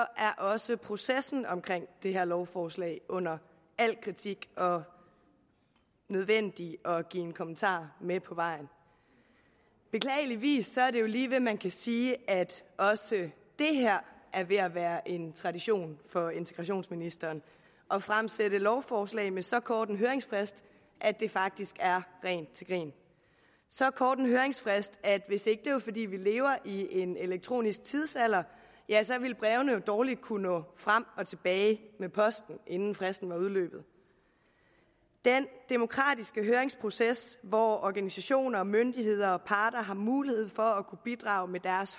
også processen omkring det her lovforslag under al kritik og nødvendig at give en kommentar med på vejen beklageligvis er det lige ved at man kan sige at også det er ved at være en tradition for integrationsministeren at fremsætte lovforslag med så kort en høringsfrist at det faktisk er rent til grin så kort en høringsfrist at hvis ikke det var fordi vi lever i en elektronisk tidsalder ja så ville brevene jo dårligt kunne nå frem og tilbage med posten inden fristen var udløbet den demokratiske høringsproces hvor organisationer myndigheder og parter har mulighed for at kunne bidrage med